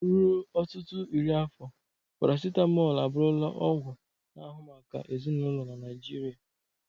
Ruo ọtụtụ iri afọ, parasitamol abụrula ọgwụ na ahu maka ezinụlọ na Naijiria.